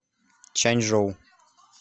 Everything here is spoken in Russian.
чанчжоу